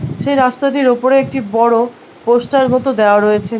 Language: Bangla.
সে রাস্তাটির ওপরে একটি বড়ো পোস্টার মতো দেওয়া রয়েছে ।